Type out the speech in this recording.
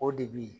O de bi